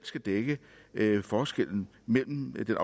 skal dække forskellen mellem den